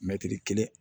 Mɛtiri kelen